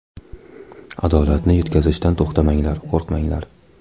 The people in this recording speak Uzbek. Adolatni yetkazishdan to‘xtamanglar, qo‘rqmanglar.